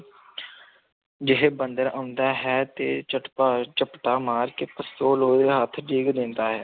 ਜਿਹੇ ਬੰਦੇ ਦਾ ਹੁੰਦਾ ਹੈ, ਤੇ ਝਪਟਾ ਮਾਰ ਕੇ ਪਸਤੋਲ ਉਹਦੇ ਹੱਥ ਡਿੱਗ ਦਿੰਦਾ ਹੈ।